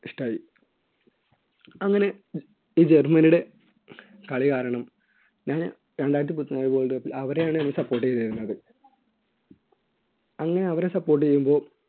ഇഷ്ടായി അങ്ങനെ ഈ ജർമ്മനിയുടെ കളി കാരണം ഞാന് world cup ൽ അവരെയാണ് support ചെയ്തിരുന്നത് അങ്ങനെ അവരെ support ചെയ്യുമ്പോൾ